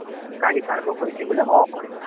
କାଢ଼ିପାରିବ କହିଲି ବୋଲେ ହଁ କହିଲେ